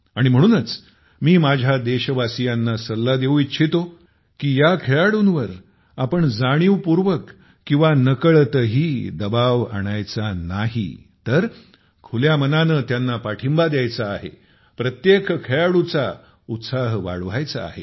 आणि म्हणूनच मी माझ्या देशवासियांना सल्ला देऊ इच्छितो की या खेळाडूंवर आपण जाणीवपूर्वक किंवा नकळत दबाव आणायचा नाही आहे तर खुल्या मनाने त्यांना पाठिंबा द्यायचा आहे प्रत्येक खेळाडूचा उत्साह वाढवायचा आहे